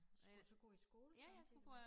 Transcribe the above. Skulle du så gå i skole samtidigt